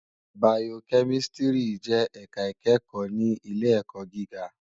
Bàyókèmìsítìrí jè èká ikèékò ni ilé èkò gigá